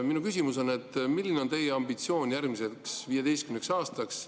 Minu küsimus on, milline on teie ambitsioon järgmiseks 15 aastaks.